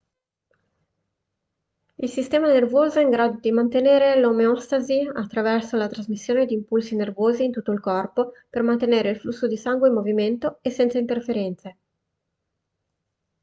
il sistema nervoso è in grado di mantenere l'omeostasi attraverso la trasmissione di impulsi nervosi in tutto il corpo per mantenere il flusso di sangue in movimento e senza interferenze